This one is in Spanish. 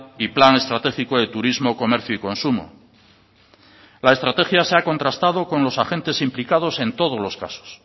y plan estratégico de turismo comercio y consumo la estrategia se ha contrastado con los agentes implicados en todos los casos